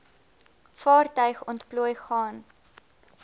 vaartuig ontplooi gaan